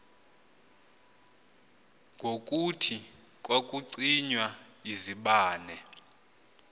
ngokuthi kwakucinywa izibane